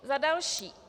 Za další.